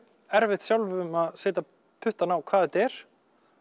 erfitt sjálfum að setja puttann á hvað þetta er